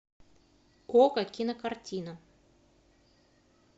окко кинокартина